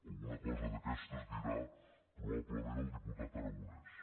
alguna cosa d’aquestes dirà probablement el di·putat aragonès